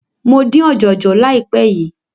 Mo dín ọ̀jọ̀jọ̀ láìpé yìí.